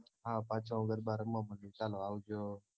હા પાછો ગરબાં રમવા માંડું ચાલો આવજો